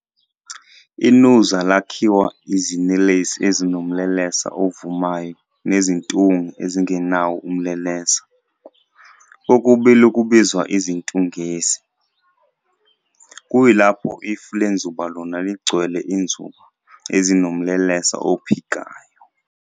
INuzi lakhiwa izinelesi ezinomlelesa ovumayo nezintunge ezingenawo umlelesa, kokubili kubizwa izintungesi, kuyilapho ifu lenzuba lona ligcwele izinzuba ezinomlelesa ophikayo.